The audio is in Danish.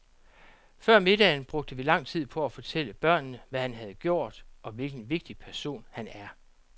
Før middagen brugte vi lang tid på at fortælle børnene, hvad han havde gjort, og hvilken vigtig person han er.